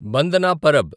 Bandna Parab